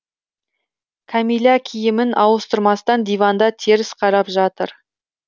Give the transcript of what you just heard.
кәмилә киімін ауыстырмастан диванда теріс қарап жатыр